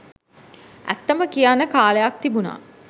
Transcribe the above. ඇත්තම කියන්න කාලයක් තිබුණා